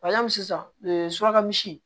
sisan suraka misi